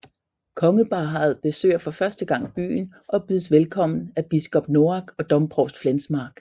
Kongeparret besøger for første gang byen og bydes velkommen af biskop Noack og domprovst Flensmark